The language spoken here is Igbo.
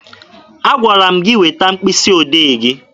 Agwara m gị weta mkpịsị odee gị!